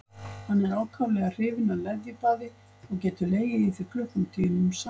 Hann er ákaflega hrifinn af leðjubaði og getur legið í því klukkutímum saman.